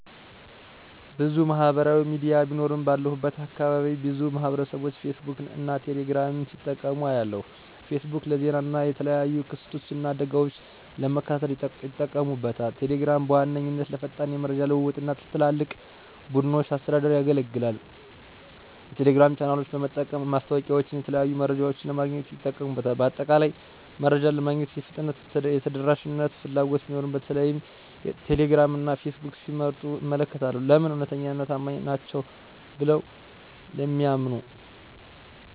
**ብዙ ማህበራዊ ሚዲያ ቢኖሩም፦ ባለሁበት አካባቢ ብዙ ማህበረሰብቦች ፌስቡክን እና ቴሌ ግራምን ሲጠቀሙ አያለሁ፤ * ፌስቡክ: ለዜና እና የተለያዩ ክስተቶችን እና አደጋወችን ለመከታተል ይጠቀሙበታል። * ቴሌግራም: በዋነኛነት ለፈጣን የመረጃ ልውውጥ እና ለትላልቅ ቡድኖች አስተዳደር ያገለግላል። የቴሌግራም ቻናሎችን በመጠቀም ማስታወቂያወችንና የተለያዩ መረጃዎችን ለማግኘት ይጠቀሙበታል። በአጠቃላይ፣ መረጃ ለማግኘት የፍጥነትና የተደራሽነት ፍላጎት ሲኖር በተለይም ቴሌግራም እና ፌስቡክን ሲመርጡ እመለከታለሁ። *ለምን? እውነተኛና ታማኝ ናቸው ብለው ስለሚያምኑ።